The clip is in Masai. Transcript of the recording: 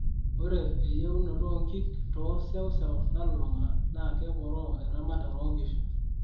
ore eyeunoto oonkiik too sewsew nalulung'a naa keporoo eramatare oo nkishu